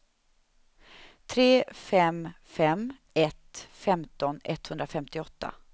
tre fem fem ett femton etthundrafemtioåtta